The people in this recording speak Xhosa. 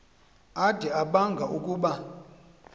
ade abanga ukuba